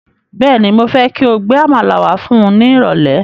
Bẹ́ẹ̀ni, mo fẹ́ kí o gbe Àmàlà wá fún ni irole